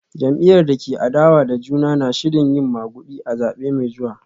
Jam’iyyar da ke adawa da juna na shirin yin magudi a zabe mai zuwa